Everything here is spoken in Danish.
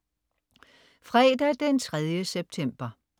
Fredag den 3. september